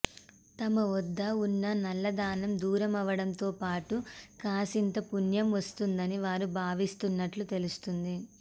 తమ వద్ద ఉన్న నల్లధనం దూరమవడంతోపాటు కాసింత పుణ్యం వస్తుందని వారు భావిస్తున్నట్లు తెలుస్తోంది